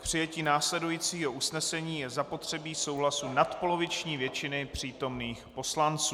K přijetí následujícího usnesení je zapotřebí souhlasu nadpoloviční většiny přítomných poslanců.